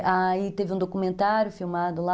E aí teve um documentário filmado lá.